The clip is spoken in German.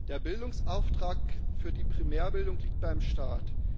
Der Bildungsauftrag für die Primärbildung liegt beim Staat.